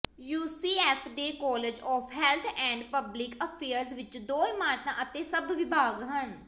UCF ਦੇ college of health and public affairs ਵਿਚ ਦੋ ਇਮਾਰਤਾਂ ਅਤੇ ਸੱਤ ਵਿਭਾਗ ਹਨ